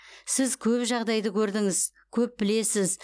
сіз көп жағдайды көрдіңіз көп білесіз